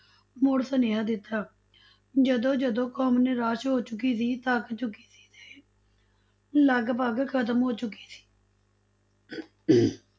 ਮੁੜ ਸੁਨੇਹਾਂ ਦਿੱਤਾ, ਜਦੋਂ ਜਦੋਂ ਕੌਮ ਨਿਰਾਸ਼ ਹੋ ਚੁਕੀ ਸੀ, ਥੱਕ ਚੁਕੀ ਸੀ ਤੇ ਲਗਪਗ ਖਤਮ ਹੋ ਚੁਕੀ ਸੀ